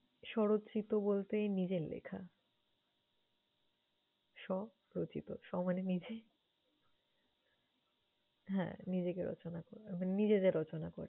স্বরচিত বলতে নিজের লেখা, স্ব-রচিত, স্ব মানে নিজে। হ্যাঁ নিজেকে রচনা করা মানে নিজে যেয়ে রচনা করা।